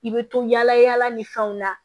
I bɛ to yaala yaala ni fɛnw na